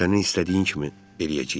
Sənin istədiyin kimi eləyəcəyik.